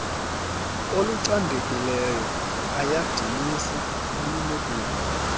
olucandekileyo ayadinisa olunokulala